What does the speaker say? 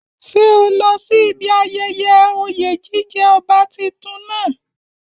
Ṣé o lọ sí ibi ayẹyẹ oyè jíjẹ ọba tuntun náà?